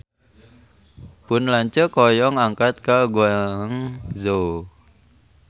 Pun lanceuk hoyong angkat ka Guangzhou